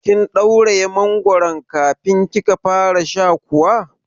Kin ɗauraye mangoron kafin kika fara sha kuwa?